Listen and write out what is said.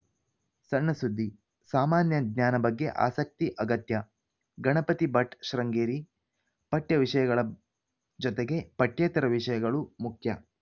ಸಣ್ಣ ಸುದ್ದಿ ಸಾಮಾನ್ಯ ಜ್ಞಾನ ಬಗ್ಗೆ ಆಸಕ್ತಿ ಅಗತ್ಯ ಗಣಪತಿ ಭಟ್‌ ಶೃಂಗೇರಿ ಪಠ್ಯ ವಿಷಯಗಳ ಜೊತೆಗೆ ಪಠ್ಯೇತರ ವಿಷಯಗಳು ಮುಖ್ಯ